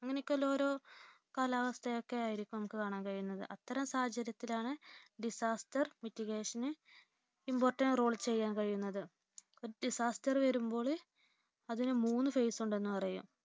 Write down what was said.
അങ്ങനെയൊക്കെയുള്ള ഓരോ കാലാവസ്ഥയൊക്കെ ആയിരിക്കും നമുക്ക് കാണാൻ കഴിയുന്നത്. അത്തരം സാഹചര്യത്തിലാണ് disaster mitigation ന് important role ചെയ്യാൻ കഴിയുന്നത് disaster വരുമ്പോൾ അതിനു മൂന്നു phase ഉണ്ടെന്ന് പറയും